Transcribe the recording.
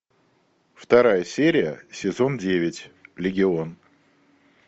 вторая серия сезон девять легион